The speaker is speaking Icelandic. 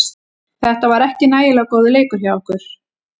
Þetta var ekki nægilega góður leikur hjá okkur.